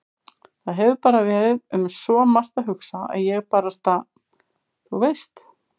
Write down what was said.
Það hefur bara verið um svo margt að hugsa að ég barasta. þú veist.